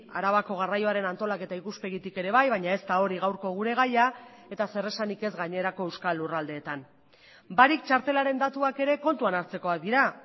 arabako garraioaren antolaketa ikuspegitik ere bai baina ez da hori gaurko gure gaia eta zer esanik ez gainerako euskal lurraldeetan barik txartelaren datuak ere kontuan hartzekoak dira